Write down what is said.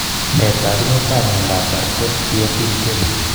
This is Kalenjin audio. Nee taakunetaab myondap bardet biedl 10?